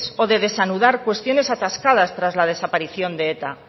o de desanudar cuestiones atascadas tras la desaparición de eta